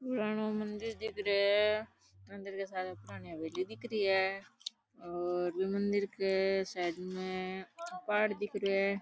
पुराणों मंदिर दिख रे है मंदिर के सामने पुराणी हवेली दिख री है और बि मंदिर के साइड में पहाड़ दिख रो है।